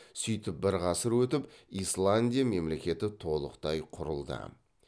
сөйтіп бір ғасыр өтіп исландия мемлекеті толықтай құрылды